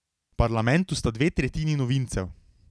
V parlamentu sta dve tretjini novincev.